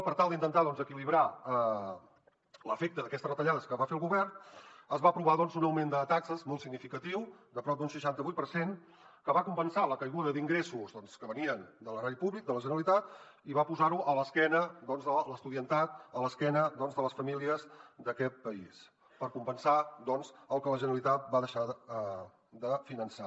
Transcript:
per tal d’intentar equilibrar l’efecte d’aquestes retallades que va fer el govern es va aprovar un augment de taxes molt significatiu de prop d’un seixanta vuit per cent que va compensar la caiguda d’ingressos que venien de l’erari públic de la generalitat i va posar ho a l’esquena de l’estudiantat a l’esquena de les famílies d’aquest país per compensar doncs el que la generalitat va deixar de finançar